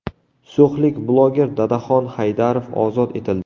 So‘xlik bloger Dadaxon Haydarov ozod etildi.